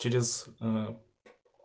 через ээ